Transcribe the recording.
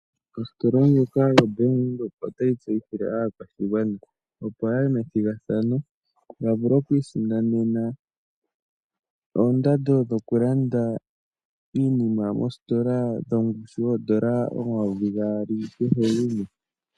Ostola ndjoka yo Bank Windhoek otayi tseyithile aakwashigwana opo yaye methigathano ya vule okwii sindanena oondando dhoku landa iinima mostola dhongushu $2000 kehe gumwe.